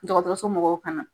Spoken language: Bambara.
dɔgɔtɔrɔso mɔgɔw ka